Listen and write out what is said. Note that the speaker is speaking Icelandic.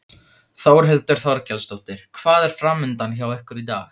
Þórhildur Þorkelsdóttir: Hvað er framundan hjá ykkur í dag?